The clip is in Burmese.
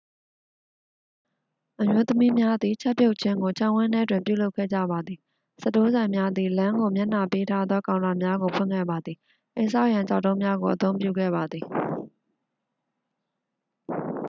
အမျိုးသမီးများသည် ချက်ပြုတ်ခြင်းကို ခြံဝန်းထဲတွင်ပြုလုပ်ခဲ့ကြပါသည် စတိုးဆိုင်များသည် လမ်းကိုမျက်နှာပေးထားသောကောင်တာများကို ဖွင့်ခဲ့ပါသည် အိမ်ဆောက်ရန် ကျောက်တုံးများကိုအသုံးပြုခဲ့ပါသည်